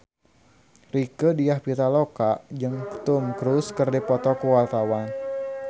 Rieke Diah Pitaloka jeung Tom Cruise keur dipoto ku wartawan